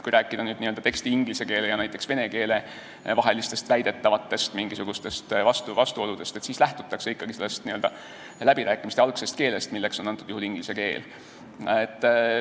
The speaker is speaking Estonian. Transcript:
Kui rääkida näiteks ingliskeelse ja venekeelse teksti mingisugustest väidetavatest vastuoludest, siis tuleb ikkagi lähtuda läbirääkimiste algsest keelest, milleks antud juhul oli inglise keel.